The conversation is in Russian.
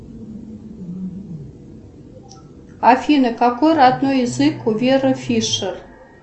афина какой родной язык у веры фишер